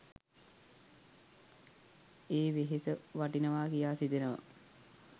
ඒ වෙහෙස වටිනවා කියා සිතෙනවා.